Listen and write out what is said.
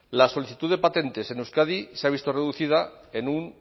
la solicitud de patentes en euskadi se ha visto reducida en un